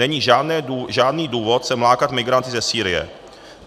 Není žádný důvod sem lákat migranty ze Sýrie.